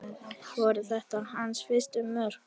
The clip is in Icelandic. Voru þetta hans fyrstu mörk?